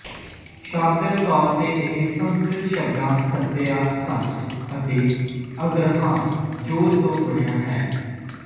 ਸ਼ਾਬਦਿਕ ਤੌਰ ਤੇ ਇਹ ਸੰਸਕ੍ਰਿਤ ਸ਼ਬਦਾਂ ਸੱਤਿਆ ਸੱਚ ਅਤੇ ਅਗਰਹਾ ਜ਼ੋਰ ਤੋਂ ਬਣਿਆ ਹੈ